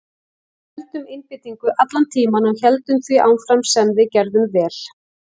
Við héldum einbeitingu allan tímann og héldum því áfram sem við gerðum vel.